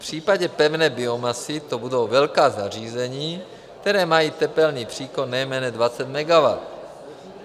V případě pevné biomasy to budou velká zařízení, která mají tepelný příkon nejméně 20 MW.